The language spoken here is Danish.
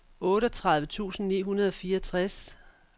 otteogtredive tusind ni hundrede og fireogtres